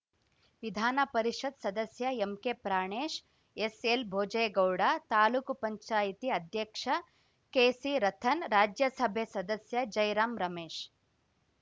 ವಿಧಾನ ಪರಿಷತ್‌ ಸದಸ್ಯ ಎಂಕೆ ಪ್ರಾಣೇಶ್‌ ಎಸ್‌ಎಲ್‌ ಭೋಜೇಗೌಡ ತಾಲೂಕುಪಂಚಾಯತಿ ಅಧ್ಯಕ್ಷ ಕೆಸಿ ರತನ್‌ ರಾಜ್ಯಸಭೆ ಸದಸ್ಯ ಜೈರಾಮ್‌ ರಮೇಶ್‌